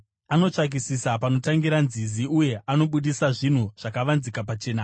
Anotsvakisisa panotangira nzizi uye anobudisa zvinhu zvakavanzika pachena.